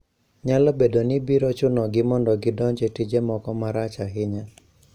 Nyalo bedo ni biro chunogi mondo gidonj e tije moko marach ahinya.